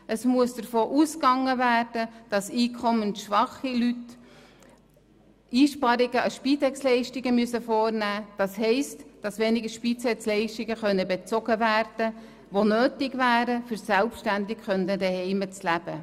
Es muss davon ausgegangen werden, dass einkommensschwache Leute Einsparungen an Spitexleistungen vornehmen müssen, das heisst, dass weniger Spitexleistungen bezogen werden können, obwohl diese für das selbstständige Leben zuhause nötig wären.